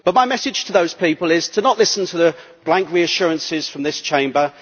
But my message to those people is not to listen to the blank reassurances from this Chamber.